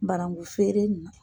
Barangu feere nin na.